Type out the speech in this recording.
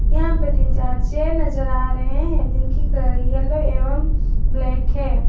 यहां पर तीन चार चेयर नजर आ रहे हैं जिनकी कलर येलो एवं ब्लैक है।